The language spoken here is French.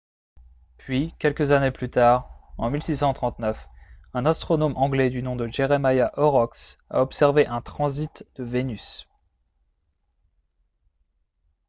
puis quelques années plus tard en 1639 un astronome anglais du nom de jeremiah horrocks a observé un transit de vénus